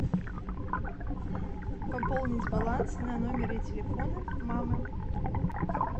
пополнить баланс на номер телефона мамы